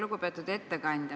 Lugupeetud ettekandja!